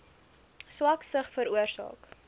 swak sig veroorsaak